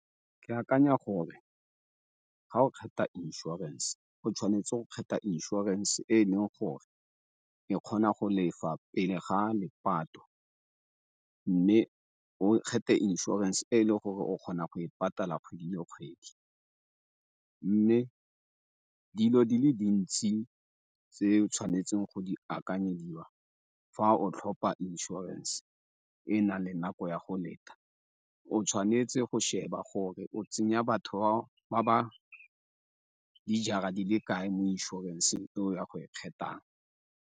Ke akanya gore ga o kgetha insurance go tshwanetse go kgetha insurance e e leng gore e kgona go lefa pele ga le mme o kgethe insurance e e le gore o kgona go e patala kgwedi le kgwedi. Mme dilo di le dintsi tse tshwanetseng go di akanyediwa fa o tlhopa insurance e na le nako ya go leta, o tshwanetse go sheba gore o tsenya batho ba ba dijara di le kae mo inšorenseng e o ya go e kgethang.